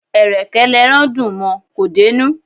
Ẹ̀rẹ̀kẹ́ l'ẹran dùn mọ; kò dé'nú.